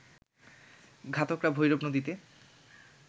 ঘাতকরা ভৈরব নদীতে